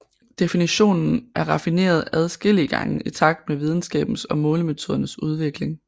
Definitionen er raffineret adskillige gange i takt med videnskabens og målemetodernes udvikling